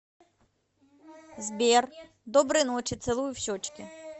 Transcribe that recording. сбер доброй ночи целую в щечки